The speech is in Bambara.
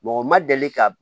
u ma deli ka